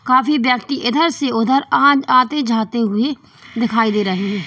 काफी व्यक्ति इधर से उधर आ आते जाते हुए दिखाई दे रहे हैं।